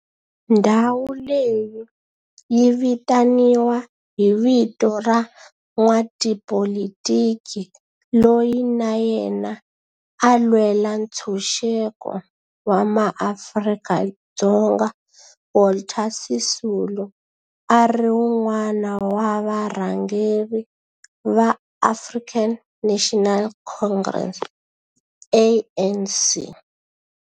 Ndhawo leyi yi vitaniwa hi vito ra n'watipolitiki loyi na yena a lwela ntshuxeko wa maAfrika-Dzonga Walter Sisulu, a ri wun'wana wa varhangeri va African National Congress, ANC.